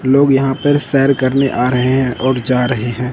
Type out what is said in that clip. लोग यहां पर सैर करने आ रहे है और जा रहे हैं।